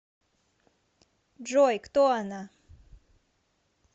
джой кто она